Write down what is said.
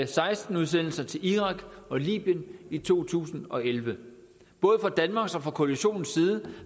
seksten udsendelser til irak og libyen i to tusind og elleve både fra danmarks og fra koalitionens side